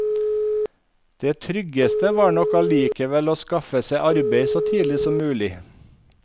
Det tryggeste var nok allikevel å skaffe seg arbeid så tidlig som mulig.